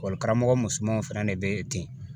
karamɔgɔ musomanw fɛnɛ de bɛ yen ten